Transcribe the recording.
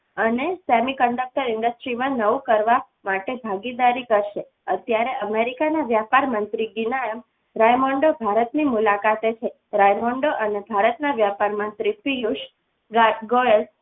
અને semiconductor industries માં નવું કરવા માટે ભાગીદારી કરશે અત્યારે America ના વેપાર મંત્રી ભારતની મુલાકાતે છે રાયમંડળ અને ભારતના વેપાર મંત્રીશ્રીઓ